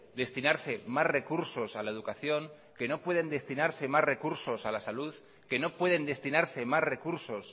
destinarse más recursos a la educación que no pueden destinarse más recursos a la salud que no pueden destinarse más recursos